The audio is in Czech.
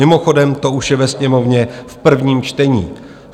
Mimochodem to už je ve Sněmovně v prvním čtení.